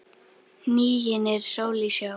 Hnigin er sól í sjó.